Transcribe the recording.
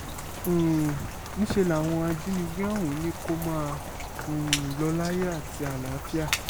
um níṣẹ́ làwọn ajínigbé ọ̀hún ní kó máa um lọ láyọ̀ àti àlàáfíà